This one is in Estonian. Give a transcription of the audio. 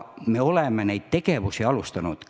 Me oleme neid tegevusi alustanud.